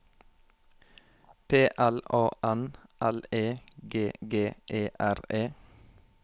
P L A N L E G G E R E